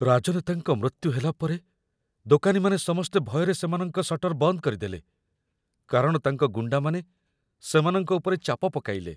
ରାଜନେତାଙ୍କ ମୃତ୍ୟୁ ହେଲା ପରେ ଦୋକାନୀମାନେ ସମସ୍ତେ ଭୟରେ ସେମାନଙ୍କର ଶଟର ବନ୍ଦ କରିଦେଲେ, କାରଣ ତାଙ୍କ ଗୁଣ୍ଡାମାନେ ସେମାନଙ୍କ ଉପରେ ଚାପ ପକାଇଲେ।